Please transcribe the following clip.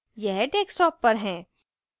यह desktop पर है